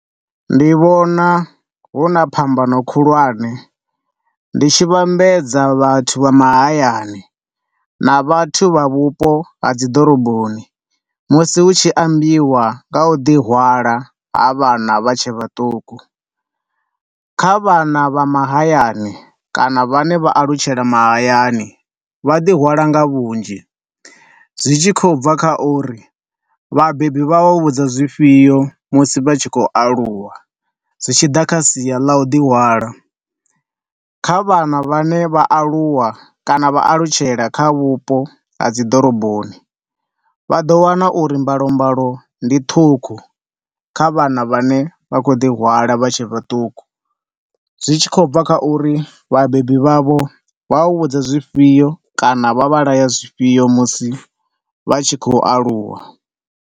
Ndi vhona huna phambano khulwane ndi tshi vhambedza vhathu vha mahayani na vhathu vhavhupo ha dziḓoroboni musi hu tshi ambiwa nga ha u ḓi hwala ha vhana vha tshe vhaṱuku, kha vhana vha mahayani kana vhane vha alutshela mahayani vha ḓihwala nga vhunzhi. Zwi tshi khou bva kha uri vhabebi vha u vhudza zwifhio musi vha tshi khou aluwa zwi tshi ḓa kha sia la u ḓi hwala. Kha vhana vhane vha aluwa kana vha alutshela kha vhupo ha dziḓoroboni vha ḓo wana uri mbalo mbalo ndi ṱhukhu kha vhana vhane vha khou ḓi hwala vha tshe vhaṱuku. Zwi tshi khou bva kha uri vhabebi vhavho vha vha vhudza zwifhio kana vha vha laya zwifhio musi vha tshi khou aluwa.